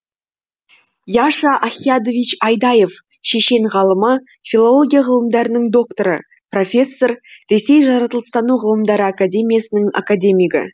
юша ахъядович айдаев шешен ғалымы филология ғылымдарының докторы профессор ресей жаратылыстану ғылымдары академиясының академигі